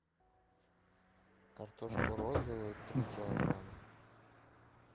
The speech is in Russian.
картошку розовую три килограмма